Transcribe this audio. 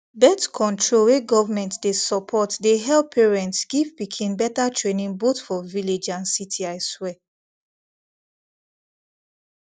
birthcontrol wey government dey support dey help parents give pikin better trainingboth for village and city i swear